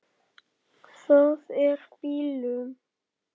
Það er bilun.